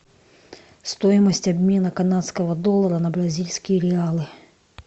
стоимость обмена канадского доллара на бразильские реалы